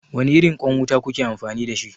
Wane irin ƙwan wuta kuke amfani da shi?